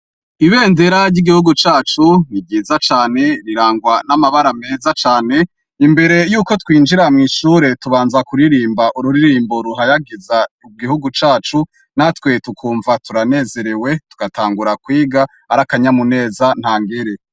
Ibendera ry' igihugu cacu ni ryiza cane, rirangwa n' amabara meza cane, imbere yuko twinjira mwishure, tubanza kuririmb' ururirimbo ruhayagiz' igihugu cacu, natwe tukumva tura nezerewe tugatangura kwig' arakanyamuneza ntangere.